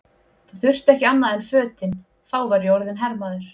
Það þurfti ekki annað en fötin, þá var ég orðinn hermaður!